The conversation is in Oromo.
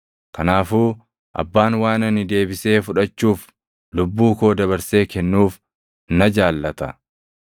Kanaafuu Abbaan waan ani deebisee fudhachuuf lubbuu koo dabarsee kennuuf na jaallata.